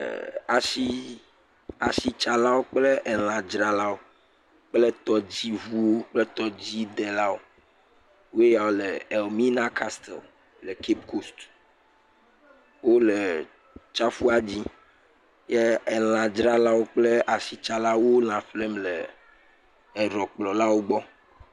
ɛɛ, ashii, ashitsalawo kple elãdzralawo kple tɔdziŋuwo kple tɔdzidelawoe ya le Ɛlmina Kastel le Cape Coast. Wole tsiaƒua dzi. Ye elãdzralawo kple ashitsalao wo lã ƒlem le eɖɔkplɔlawo gbɔ.